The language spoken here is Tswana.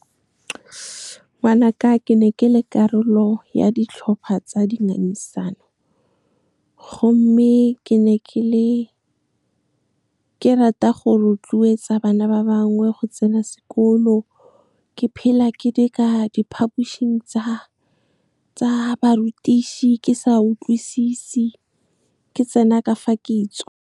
Ngwanaka, ke ne ke le karolo ya ditlhopha tsa dingangisano, gomme ke ne ke rata go rotloetsa bana ba bangwe go tsena sekolo. Ke phela ke di ka diphapošing tsa barutiši, ke sa utlwisisi, ke tsena ka fa kitso. Ngwanaka, ke ne ke le karolo ya ditlhopha tsa dingangisano, gomme ke ne ke rata go rotloetsa bana ba bangwe go tsena sekolo. Ke phela ke di ka diphapošing tsa barutiši, ke sa utlwisisi, ke tsena ka fa kitso.